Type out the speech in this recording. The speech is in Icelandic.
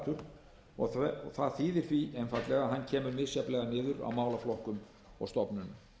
flatur og það þýðir því að hann kemur misjafnlega niður á málaflokkum og stofnunum